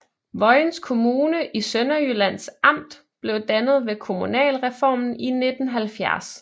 Vojens Kommune i Sønderjyllands Amt blev dannet ved kommunalreformen i 1970